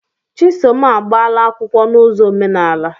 Chisom agbaala akwụkwọ na ụzọ omenaala.